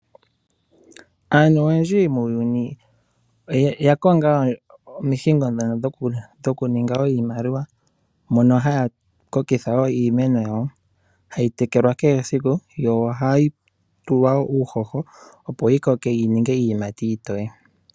Aantu oyendji muuyuni oya konga omihingo ndhono dhokuninga wo iimaliwa mono haya kokitha wo iimeno yawo, hayi tekelwa kehe siku yo ohayi tulwa wo uuhoho opo yi koke yi ninge iiyimati iitoye.